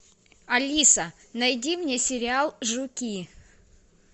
алиса найди мне сериал жуки